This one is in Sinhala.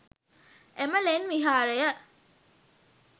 එම ලෙන් විහාරය